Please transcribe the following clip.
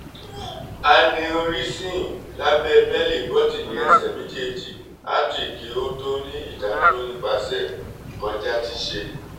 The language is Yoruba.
aneurysm labẹ belle bọtini ẹsẹ mejeeji artery ki o ti ni idaduro nipasẹ kọja ti ṣe